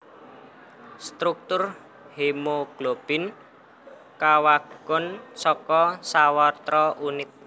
Struktur hemoglobin kawangun saka sawatra unit